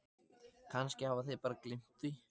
Kannski hafa þeir bara gleymt því.